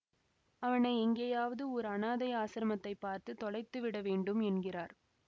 அவனை எங்கேயாவது ஓர் அநாதை ஆசிரமத்தைப் பார்த்து தொலைத்துவிட வேண்டும் என்கிறார்